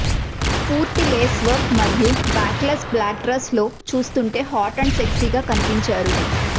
పూర్తి lace work మరియు backless black dress లో చూస్తుంటే హాట్ అండ్ సెక్సీగా కనిపించారు